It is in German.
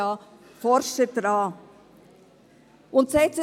Die Forscher tun dies bereits.